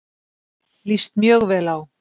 Líst mjög vel á